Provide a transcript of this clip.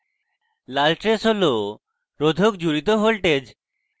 লাল trace হল রোধক জুড়িত voltage